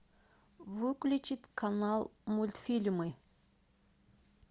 выключить канал мультфильмы